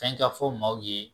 Fɛn ka fɔ maaw ye